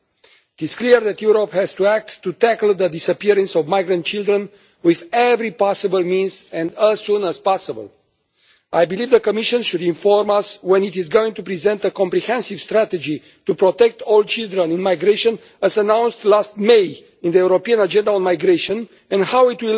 It is clear that Europe has to act to tackle the disappearance of migrant children with every possible means and as soon as possible. I believe the Commission should inform us when it is going to present a comprehensive strategy to protect all children in migration, as announced last May in the European agenda on migration, and how it